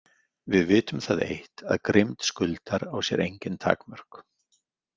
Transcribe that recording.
Við vitum það eitt að grimmd Skuldar á sér engin takmörk.